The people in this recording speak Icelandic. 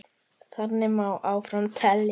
Þannig má áfram telja.